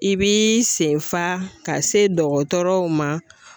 I b'i sen fa ka se dɔgɔtɔrɔw ma